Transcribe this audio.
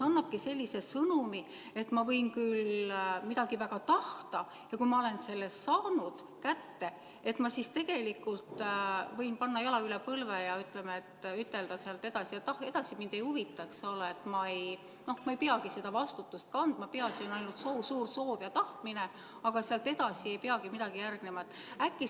Kas annabki sellise sõnumi, et ma võin küll midagi väga tahta ja kui ma olen selle kätte saanud, siis ma tegelikult võin panna jala üle põlve ja ütelda, et edasi mind ei huvita, et noh ma ei peagi seda vastutust kandma, peaasi on ainult soov, suur soov ja tahtmine, aga sealt edasi ei peagi midagi järgnema?